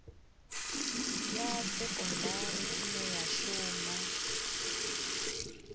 ya sekondari ine ya shuma